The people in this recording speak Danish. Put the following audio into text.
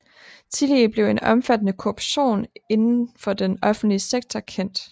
Tillige blev en omfattende korruption inden for den offentlige sektor kendt